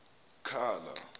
khala